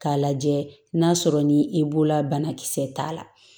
K'a lajɛ n'a sɔrɔ ni i b'o la banakisɛ t'a la